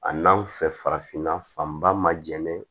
A n'an fɛ farafinna fanba ma jɛnɛn